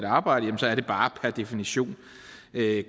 arbejde så er det bare per definition